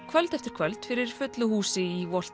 kvöld eftir kvöld fyrir fullu húsi í